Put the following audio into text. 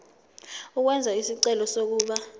ukwenza isicelo sokuba